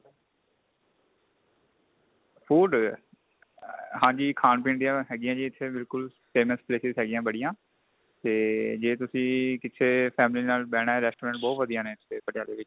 food ਹਾਂਜੀ ਖਾਣ ਪੀਣ ਦੀਆਂ ਹੈਗੀਆਂ ਜੀ ਇੱਥੇ ਬਿਲਕੁਲ famous places ਹੈਗੀਆਂ ਬੜੀਆਂ ਤੇ ਤੁਸੀਂ ਕਿੱਥੇ family ਨਾਲ ਬੈਣਾ restaurant ਬਹੁਤ ਵਧੀਆ ਨੇ ਇੱਥੇ ਪਟਿਆਲੇ ਵਿੱਚ